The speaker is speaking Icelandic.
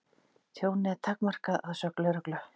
Tjónið er takmarkað að sögn lögreglu